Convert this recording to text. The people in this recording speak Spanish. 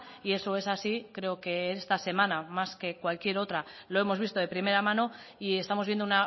y eso es así creo que esta semana más que cualquier otra lo hemos visto de primera mano y estamos viendo